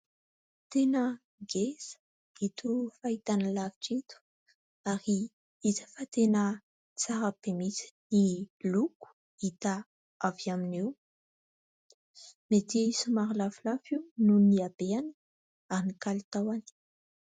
Tena ngeza ito fahitalavitra ito ary hita fa tena tsara be mihitsy ny loko hita avy amin'io. Mety somary lafolafo io noho ny abehany ary ny kalitaony.